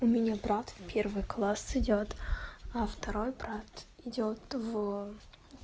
у меня брат в первый класс идёт а второй брат идёт в